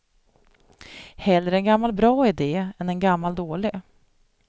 Hellre en gammal bra idé än en gammal dålig.